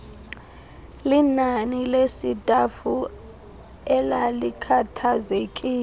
linani lesitafu elalikhathazekile